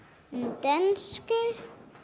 dönsku